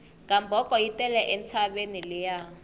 gamboko yi tele entshaveni liya